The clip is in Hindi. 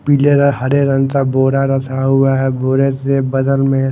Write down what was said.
पीले और हरे रंग का बोरा रखा हुआ है बूढ़े के बगल में--